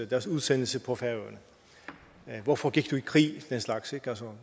deres udsendelse på færøerne hvorfor gik du i krig